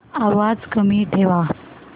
आवाज कमी ठेवा